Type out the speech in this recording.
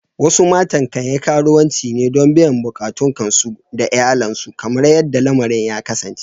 Wasu matan kan yi karuwanci ne don biyan bukatun kansu da iyalansu kamar yadda lamarin ya kasance.